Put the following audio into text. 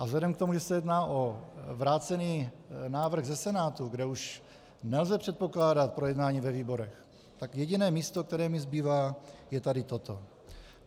A vzhledem k tomu, že se jedná o vrácený návrh ze Senátu, kde už nelze předpokládat projednání ve výborech, tak jediné místo, které mi zbývá, je tady toto.